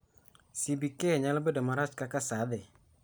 CBK nyalo bedo marach kaka saa dhi